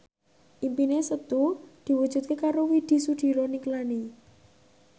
impine Setu diwujudke karo Widy Soediro Nichlany